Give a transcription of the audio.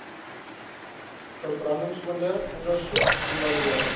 verbrandingsoonde ondersoek evalueer